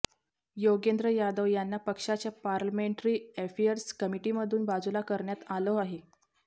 योगेंद्र यादव यांना पक्षाच्या parliamentary affairs कमिटीमधून बाजूला करण्यात आलं आहे